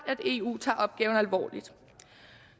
at eu tager opgaven alvorligt